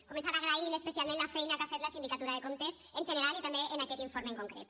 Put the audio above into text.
començant agraint especialment la feina que ha fet la sindicatura de comptes en general i també en aquest informe en concret